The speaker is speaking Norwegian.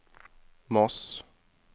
Moss